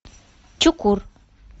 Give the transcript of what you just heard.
чукур